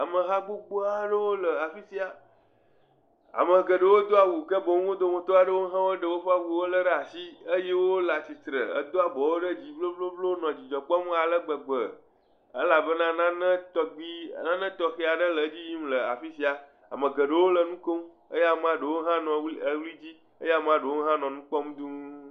Ameha gbogbo aɖewo le afi sia, ame geɖewo do awu ke boŋ wo dometɔ aɖewo hã ɖe woƒe awuwo ɖe asi eye wole atsitre, do abɔwo ɖe dzi henɔ dzidzɔ kpɔm bobobo nɔ dzidzɔ kpɔm ale gbegbe elabena nane tɔgbi, nane tɔxɛ aɖe le edzi yim la afi sia, ame geɖewo nɔ nu kom eye amea ɖewo hã nɔ ʋli dzi eye amea ɖewo nɔ nu kpɔm duu.